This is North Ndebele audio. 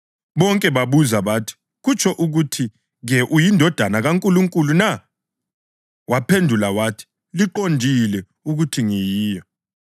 Bonke babuza bathi, “Kutsho ukuthi-ke uyiNdodana kaNkulunkulu na?” Waphendula wathi, “Liqondile ukuthi ngiyiyo.”